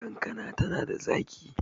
kankana tana da zaki